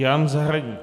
Jan Zahradník.